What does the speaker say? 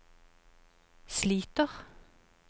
sliter